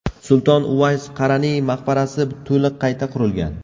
Sulton Uvays Qaraniy maqbarasi to‘liq qayta qurilgan.